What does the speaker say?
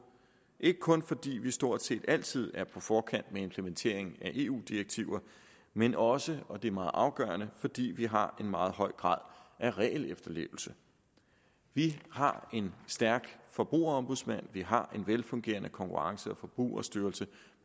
ikke kun fordi vi stort set altid er på forkant med implementeringen af eu direktiver men også og det er meget afgørende fordi vi har en meget høj grad af regelefterlevelse vi har en stærk forbrugerombudsmand og vi har en velfungerende konkurrence og forbrugerstyrelse